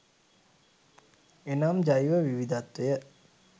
එනම් ජෛව විවිධත්වය